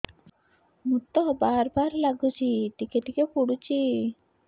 ମୁତ ବାର୍ ବାର୍ ଲାଗୁଚି ଟିକେ ଟିକେ ପୁଡୁଚି